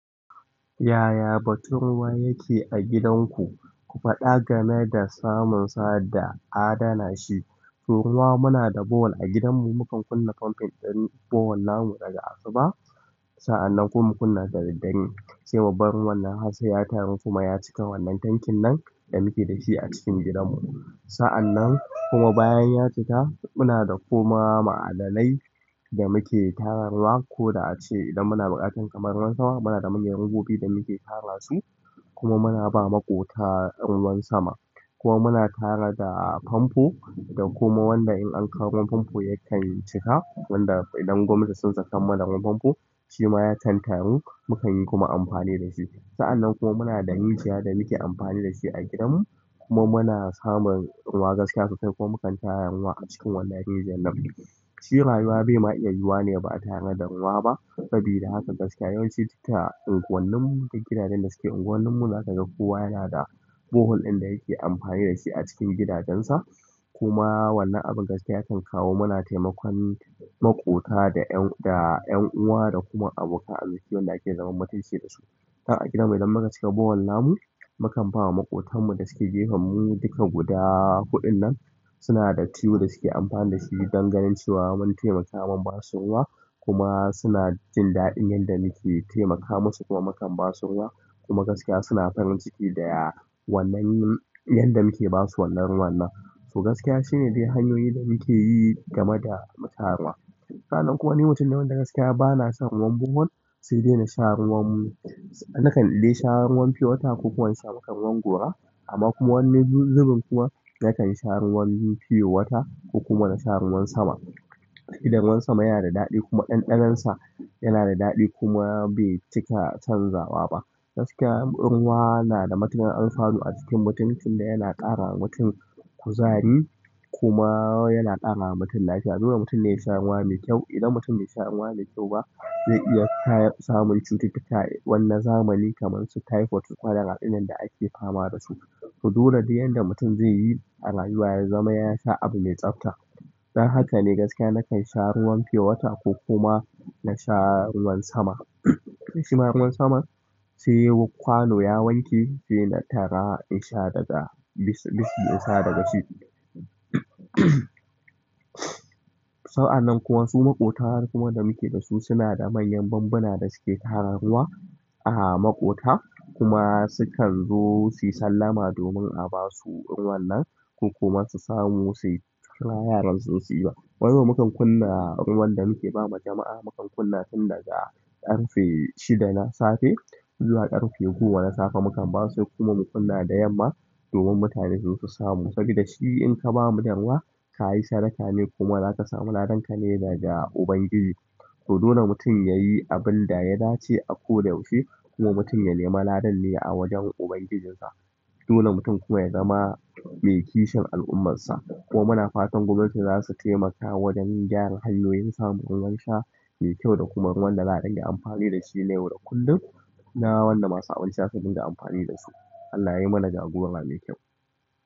Yaya batun ruwa yake a gidanku? Ku faɗa game da samunsa da adana shi. Ruwa muna da boholl a gidanmu, mukan kunna famfin ɗin boholl namu daga asuba. Sa'annan kuma mu kunna da daddare sai babban ruwannan har sai ya taru kuma ya cika wannan tankin nan da muke da shi a cikin gidanmu. Sa'annan kuma bayan ya cika, muna da kuma ma'adanai da muke tara ruwa. Ko da ace idan muna buƙatar kamar ruwan sama, muna da manyan robobi da muke tara su kuma muna ba maƙota ruwan sama. Kuma muna tara da famfo da kuma wanda in an kawo ruwan famfo yakan cika. Wanda idan gwamnatin sun sakan mana ruwan famfo shi ma ya can taru, mukan yi kuma amfani da shi. Sa'annan kuma muna da rijiya da muke amfani da shi a gidanmu kuma muna samun ruwa gaskiya sosai kuma mukan tara ruwa a cikin wannan rijiyar nan. Shi rayuwa be ma iya yiwa ne ba a tanada ruwa ba. Sabida haka gaskiya yawanci duta unguwanninmu duk gidajen da suke unguwannin mu za ka ga kowa yana da boholl ɗin da yake amfani da shi a cikin gidajensa. Kuma wannan abin gaskiya yakan kawo mana taimakon maƙota da 'yan da ƴan uwa da kuma abokan arziki wanda ake zaman mutunci da su. A gidanmu idan muka cika boholl namu, mukan ba wa maƙotanmu da suke gefan mu duka guda huɗunnan suna da tiyo da suke amfani da shi don ganin cewa mun taimaka mun ba su ruwa. Kuma suna jin daɗin yanda muke taimaka musu kuma mukan ba su ruwa. Kuma gaskiya suna farin ciki da wannan yanda muke ba su wannan ruwan nan. To gaskiya shine dai hanyoyin da muke yi game da mu tara ruwa. Sa'annan kuwa ni mutum ne wanda gaskiya ba na son ruwan boholl sai dai na sha ruwan mu. Nakan dai sha ruwan pure water ko kuwa in sha maka ruwan gora amma kuma wani zubin kuwa na kan sha ruwan pure water ko kuma na sha ruwan sama. Dan ruwan sama yana da daɗi kuma ɗanɗanonsa yana da daɗi kuma bai cika canzawa ba. Gaskiya ruwa na da matuƙar alfanu a jikin mutum tunda yana ƙara wa mutum kuzari kuma yana ƙara wa mutum lafiya. Dole mutum ne ya sha ruwa mai kyau. Idan mutum be sha ruwa mai kyau ba zai iya samun cututtuka wanna zamani kaman su typhoid su colara ɗinan da ake fama da su. To dole di yadda mutum zai yi a rayuwa ya zama ya sha abu mai tsafta. Dan haka ne gaskiya na kan sha ruwan pure water ko kuma na sha ruwan sama. Shi ma ruwan saman sai kwano ya wanke sai na tara in sha daga bis bis bisa daga shi. Sa'annan kuwa su maƙotan kuma da muke da su suna da manyan bambuna da suke tara ruwa a maƙota kuma sukan zo su yi sallama domin a ba su ruwan nan ko kuma su samu su kira yaran su zo su iba. Wani zuwan mukan kunna ruwan da muke ba wa jama'a mukan kunna tun daga ƙarfe shida na safe zuwa ƙarfe goma na safe. Mukan ba su sai kuma mu kunna da yamma domin mutane su zo su samu. Saboda shi in ka ba mutum ruwa ka yi sadaka ne kuma za ka samu ladanka ne daga ubangiji. To dole mutum ya yi abun da ya dace a ko da yaushe kuma mutum ya nema ladan ne a wajen. Ubangijinsa. Dole mutum kuma ya zama mai kishin al'ummarsa. Kuma muna fatan gwamnati za su taimaka wajen gyara hanyoyin samun ruwan sha mai kyau da kuma ruwan da za a ɗinga amfani da shi na yau da kullum. Na wanda masu abinci za su dinga amfani da su. Allah ya yi mana jagora mai kyau.